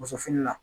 Muso fini la